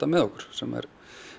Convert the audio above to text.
með okkur sem er